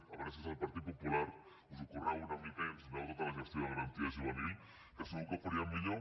a veure si des del partit popular us ho curreu una mica i ens doneu tota la gestió de garantia juvenil que segur que ho faríem millor